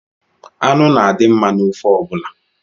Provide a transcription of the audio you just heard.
Anụ na-adi mma n’ofe ọbụla